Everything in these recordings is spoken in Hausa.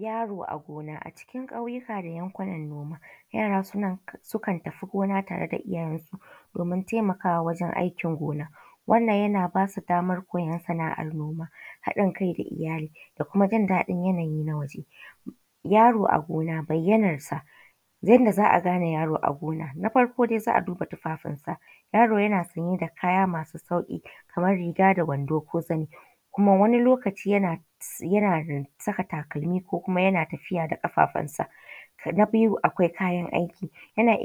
Yaro a gona a cikin ƙauyuka da yankunan noma yara sukan tafi gona tare da iyyyen su domin taimakawa wajen ayyukan gona. Wannan yana basu daman koyan sana’ar noma haɗin kai ga iyyali da kuma jin daɗi na waje. Yaro a gona bayyanarsa, yandaza’a gane yaro a gona. Na farko dai za’a duba tufafin sa yaro yana sanye da kaya masu sauƙi Kaman riga da wando ko zani kuma wani lokaci yana saka takalmi ko kuma yana tafiya da ƙafafunsa. Na biyu akwai kayan aiki yana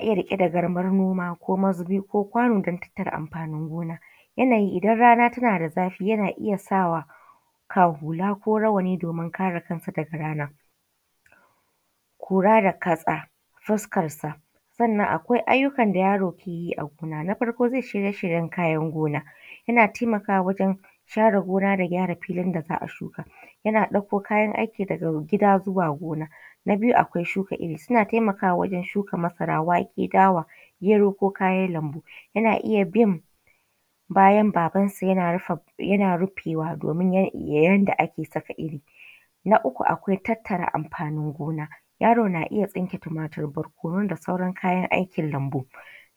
iyya riƙe da garman noma ko mazubi kokwano dan tattara amfanin gona. Yanayi idan rana tanada zafi yana iyya sawa hula ko rawani domin kare kansa daga rana. Kura da ƙasa fukarsa sannan akwai ayyukan da yaro keyi agona na farko shirye shiryen kayan gona, yana taimakawa awjen gyara gona da gyara filin da za’a shuka. Yana ɗako kayan aiki daga gida zuwa gona. Na biyu akwai shuka irri suna taimakawa wajen shuka masara, dawa, wake, gero ko kayan lambu, yana iya bin bayan babansa yana rufewa domin yandaake saka irri. Na uku akwai tattara amfanin gona yaro na iyya tsinke tumatur, barkonu da sauran kayan aikin lambu.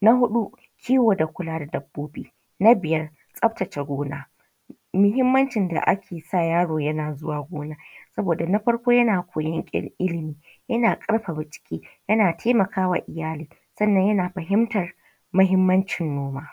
Na huɗu kiwo da kula da dabbobi. Na biyar tsaftace gona. Muhimmancin da akesa yaro yana zuwa gona saboda na farko yana koyan illimi, yana ƙarfafa jiki, yana taimakawa iyyali sannan yana fahimtar mahimmancin noma.